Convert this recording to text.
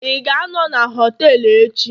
ị ga-anọ na họtelu echi?